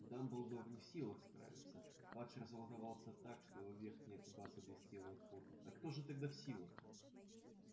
дамблдор не в силах справиться фадж разволновался так что его верхняя губа заблестела от пота а кто же тогда в силах